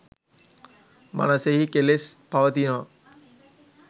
මනසෙහි කෙලෙස් පවතිනා